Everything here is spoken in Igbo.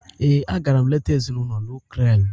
Ee, a gara m leta ezinụlọ nuklia m.